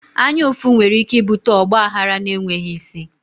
Anya ụfụ nwere ike ibute ọgba aghara na enweghị isi